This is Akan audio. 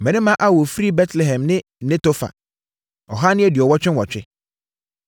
Mmarima a wɔfiri 1 Betlehem ne Netofa 2 188 1